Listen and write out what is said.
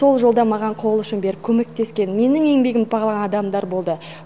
сол жолда маған қол ұшын беріп көмектескен менің еңбегімді бағалаған адамдар болды